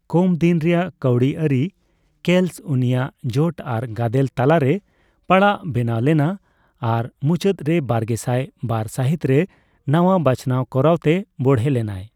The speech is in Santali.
ᱠᱚᱢ ᱫᱤᱱ ᱨᱮᱭᱟᱜ ᱠᱟᱹᱣᱰᱤ ᱟᱹᱨᱤ ᱠᱮᱞᱥ ᱩᱱᱤᱭᱟᱜ ᱡᱳᱴ ᱟᱨ ᱜᱟᱫᱮᱞ ᱛᱟᱞᱟᱨᱮ ᱯᱟᱲᱟᱜ ᱵᱮᱱᱟᱣ ᱞᱮᱱᱟ, ᱟᱨ ᱢᱩᱪᱟᱹᱫ ᱨᱮ ᱵᱟᱨᱜᱮᱥᱟᱭ ᱵᱟᱨ ᱥᱟᱹᱦᱤᱛ ᱨᱮ ᱱᱟᱣᱟ ᱵᱟᱪᱷᱱᱟᱣ ᱠᱚᱨᱟᱣ ᱛᱮ ᱵᱚᱲᱦᱮ ᱞᱮᱱᱟᱭ ᱾